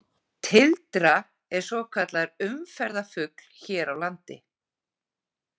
Tildra er svokallaður umferðarfugl hér á landi.